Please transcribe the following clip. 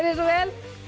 svo vel